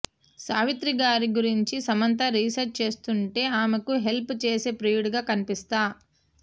సావిత్రిగారి గురించి సమంత రీసెర్చ్ చేస్తుంటే ఆమెకు హెల్ప్ చేసే ప్రియుడిగా కనిపిస్తా